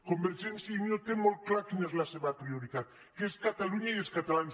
convergència i unió té molt clar quina és la seva prio·ritat que és catalunya i els catalans